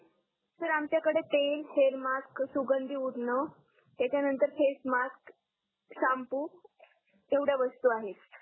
sir आमच्याकडे तेल hair mask सुगंधी उठणं त्याच्यानंतर फेस मास्क शाम्पू येवडया वस्तू आहेत